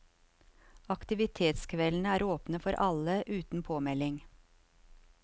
Aktivitetskveldene var åpne for alle, uten påmelding.